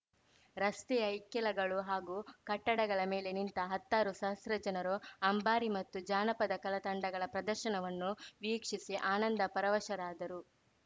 ರಸ್ತೆಯ ಇಕ್ಕೆಲಗಳು ಹಾಗೂ ಕಟ್ಟಡಗಳ ಮೇಲೆ ನಿಂತ ಹತ್ತಾರು ಸಹಸ್ರಾ ಜನರು ಅಂಬಾರಿ ಮತ್ತು ಜಾನಪದ ಕಲಾತಂಡಗಳ ಪ್ರದರ್ಶನವನ್ನು ವೀಕ್ಷಿಸಿ ಆನಂದ ಪರವಶರಾದರು